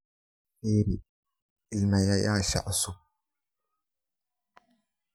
firi iimaylyaasha cusub